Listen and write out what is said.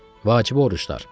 Vacibi oruclar.